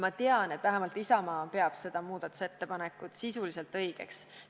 Ma tean, et vähemalt Isamaa peab seda muudatusettepanekut sisuliselt õigeks.